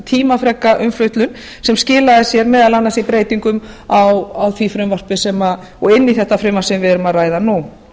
tímafreka umfjöllun sem skilaði sér meðal annars í breytingum inn í þetta frumvarp sem við erum að ræða nú